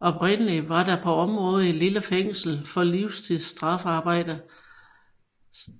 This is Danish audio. Oprindeligt var der på området et lille fængsel for livstidsstraffearbejde